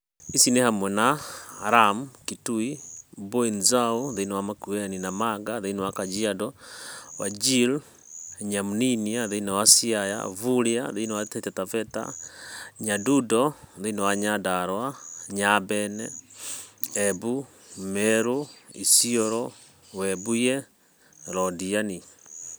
ici nĩ hamwe na: Lamu, Kitui, MbuiNzau (Makueni) Namanga (Kajiado), wajir, Nyamninia (Siaya), Vuria (TaitaTavetta), Nyadundo (Nyandarua), Nyambene, (Embu/Meru/Isiolo), Webuye, Londiani.